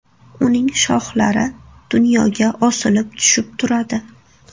Uning shoxlari dunyoga osilib tushib turadi.